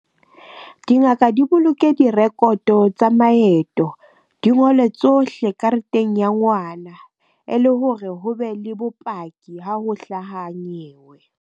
Dingaka di boloke di-record-o tsa maeto, di ngole tsohle kareteng ya ngwana e le hore ho be le bopaki ha ho hlaha nyewe.